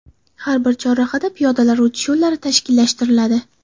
Har bir chorrahada piyodalar o‘tish yo‘llari tashkillashtiriladi.